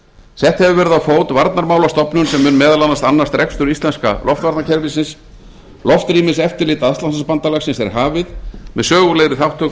sett hefur verið á fót varnarmálastofnun sem mun meðal annars annast rekstur íslenska loftvarnakerfisins loftrýmiseftirlit atlantshafsbandalagsins er hafið með sögulegri þátttöku